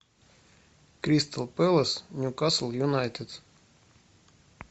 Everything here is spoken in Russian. кристал пэлас ньюкасл юнайтед